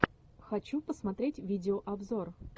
хочу посмотреть видео обзор